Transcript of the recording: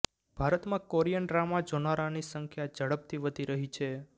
ભારતમાં Korean drama જોનારાની સંખ્યા ઝડપથી વધી રહી છે